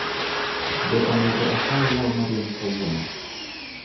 Be onego akaw law ma rieny kawuono?